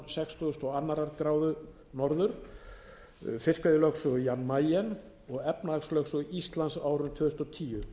norðan sextíu og tvær gráður n fiskveiðilögsögu jan mayen og efnahagslögsögu íslands á árinu tvö þúsund og tíu